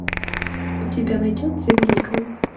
у тебя найдется великая